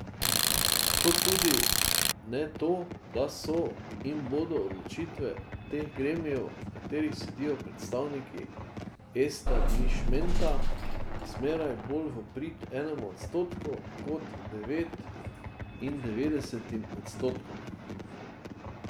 Kot tudi ne to, da so in bodo odločitve teh gremijev, v katerih sedijo predstavniki establišmenta, zmeraj bolj v prid enemu odstotku kot devetindevetdesetim odstotkom.